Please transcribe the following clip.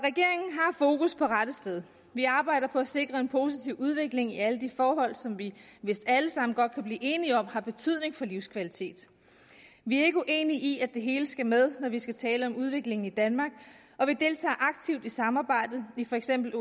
fokus på rette sted vi arbejder på at sikre en positiv udvikling i alle de forhold som vi vist alle sammen godt kan blive enige om har betydning for livskvalitet vi er ikke uenige i at det hele skal med når vi skal tale om udviklingen i danmark og vi deltager aktivt i samarbejdet i for eksempel